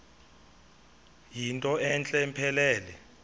yinto entle mpelele